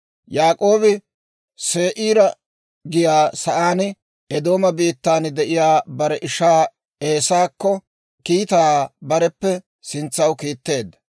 Yaak'oobi Se'iira giyaa sa'aan, Eedooma biittan de'iyaa bare ishaa Eesaakko kiitaa bareppe sintsaw kiitteedda.